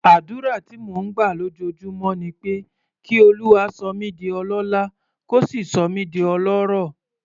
Àdúrà tí mò ń gbà lójoojúmọ́ ni pé kí Olúwa sọ mí di ọlọ́lá, kó sì sọ mí di ọlọ́rọ̀.